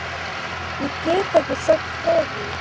Ég get ekki sagt frá því.